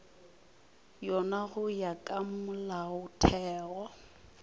yona go ya ka molaotheo